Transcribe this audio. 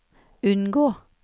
unngå